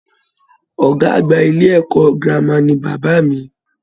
Ọgá àgbà ilé ẹ̀kọ́ gírámà ní bàbá mí.